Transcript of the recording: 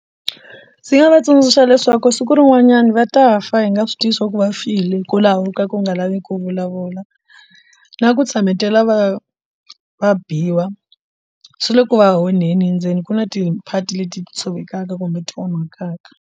Ndzi nga va tsundzuxa leswaku siku rin'wanyani va ta fa hi nga swi tivi swa ku va file hikwalaho ka ku nga lavi ku vulavula na ku tshametela va va biwa swi le ku va onheni endzeni ku na tiphati leti ti tshovelaka kumbe ti onhakaka.